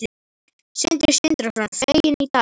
Sindri Sindrason: Fegin í dag?